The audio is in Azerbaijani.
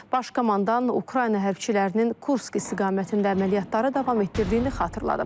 Baş komandan Ukrayna hərbiçilərinin Kursk istiqamətində əməliyyatları davam etdirdiyini xatırladıb.